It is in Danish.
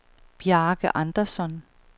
Bjarke Andersson